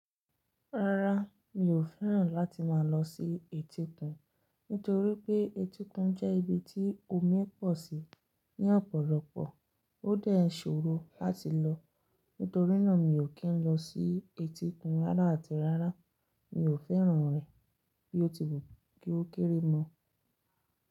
Rárá, mi ò fẹ́ràn láti máa lọ sí etíkun. Nítorí pé etíkun jẹ́ ibi tí omi pọ̀ sí ní ọ̀pọ̀lọpọ̀. Ó dé ṣòro láti lọ. Nítorínà mi ò kí n lọ sí etíkun rárá àti rárá. Mi ò fẹ́ràn rẹ̀ bí ó ti wù kí ó kéré mọ́.